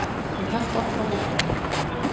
Hann hélt okkur á mottunni.